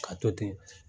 Ka to ten